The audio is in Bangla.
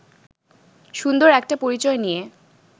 সুন্দর একটা পরিচয় নিয়ে